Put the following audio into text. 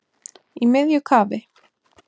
Í miðju kafi